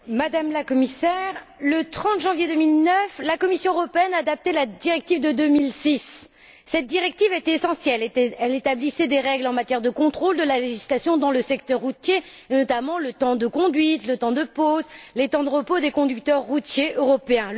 Madame la Présidente, Madame la Commissaire, le 30 janvier 2009, la Commission européenne adaptait la directive de 2006. Cette directive était essentielle elle établissait des règles en matière de contrôle de la législation dans le secteur routier, notamment les temps de conduite, de pause et de repos des conducteurs routiers européens.